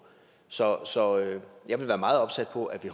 så jeg vil være meget opsat på at vi